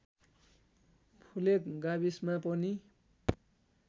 फुलेक गाविसमा पर्ने